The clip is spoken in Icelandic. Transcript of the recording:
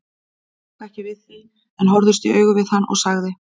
Hún tók ekki við því en horfðist í augu við hann og sagði